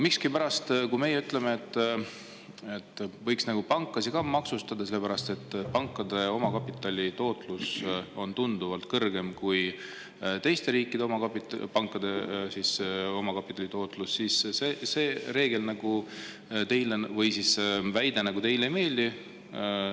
Aga kui meie ütleme, et võiks nagu pankasid maksustada, sellepärast et pankade omakapitali tootlus on tunduvalt kõrgem kui pankade omakapitali tootlus teistes riikides, siis see teile ei meeldi.